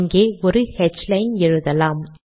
இங்கே ஒரு ஹ்லைன் எழுதலாம்